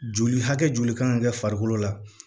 Joli hakɛ joli kan ka kɛ farikolo la